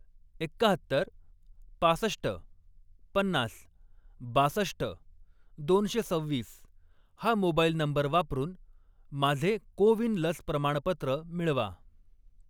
एक्काहत्तर, पासष्ट, पन्नास, बासष्ट, दोनशे सव्वीस हा मोबाईल नंबर वापरून माझे को विन लस प्रमाणपत्र मिळवा.